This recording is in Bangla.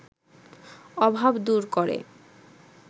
অভাব দূর করে